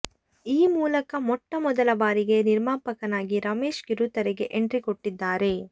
ಈ ಮೂಲಕ ಮೊಟ್ಟ ಮೊದಲ ಬಾರಿಗೆ ನಿರ್ಮಾಪಕನಾಗಿ ರಮೇಶ್ ಕಿರುತೆರೆಗೆ ಎಂಟ್ರಿ ಕೊಟ್ಟಿದ್ದಾರೆ